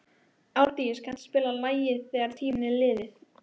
Árdís, kanntu að spila lagið „Þegar tíminn er liðinn“?